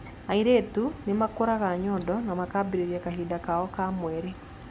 Airĩtu nĩmakũraga nyondo na makambĩrĩria kahinda kao ka mweri.